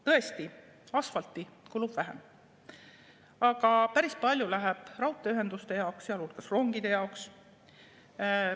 Tõesti, asfalti kulub vähem, aga päris palju läheb raudteeühenduste jaoks, sealhulgas rongide jaoks.